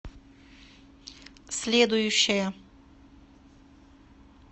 следующая